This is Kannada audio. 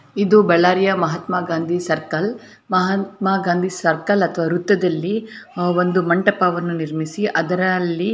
ಇದು ಬಳ್ಳಾರಿಯ ಮಹಾತ್ಮ ಗಾಂಧಿ ಸರ್ಕಲ್ . ಮಹಾತ್ಮ ಗಾಂಧಿ ಸರ್ಕಲ್ ಅಥವಾ ವೃತ್ತದಲ್ಲಿ ಒಂದು ಮಂಟಪವನ್ನು ನಿರ್ಮಿಸಿ ಅದರಲ್ಲಿ--